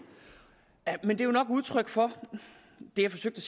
men det er nok udtryk for det jeg forsøgte